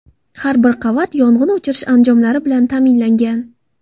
Har bir qavat yong‘in o‘chirish anjomlari bilan ta’minlangan.